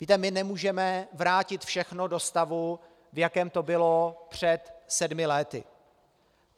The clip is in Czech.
Víte, my nemůžeme vrátit všechno do stavu, v jakém to bylo před sedmi lety.